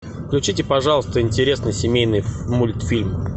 включите пожалуйста интересный семейный мультфильм